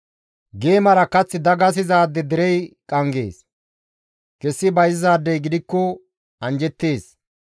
Geemara kath dagasizaade derey qanggees; kessi bayzizaadey gidikko anjjettees.